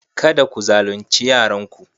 Kada ku zalunce yaranku.